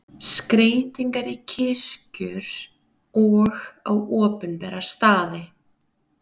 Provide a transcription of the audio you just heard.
Skreytingar í kirkjur og á opinbera staði.